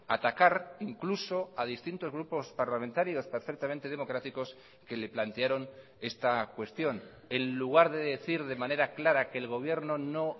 atacar incluso a distintos grupos parlamentarios perfectamente democráticos que le plantearon esta cuestión en lugar de decir de manera clara que el gobierno no